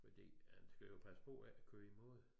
Men de man skal jo passe på ikke at køre i mod